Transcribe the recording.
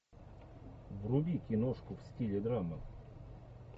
вруби киношку в стиле драмы